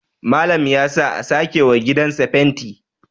Malam ya sa a sake wa gidansa fenti